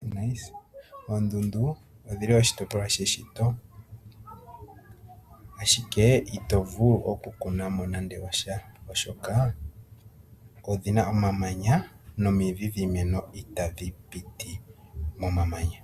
Oondundu odhili oshi topolwa sheshito ashike ito vulu oku kunamo nande osha oshoka odhina omamanya nomidhi dhiimeno itadhi piti moma manya.